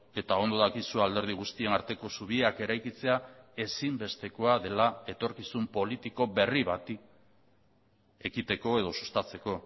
eta ondo dakizu alderdi guztien arteko zubiak eraikitzea ezinbestekoa dela etorkizun politiko berri bati ekiteko edo sustatzeko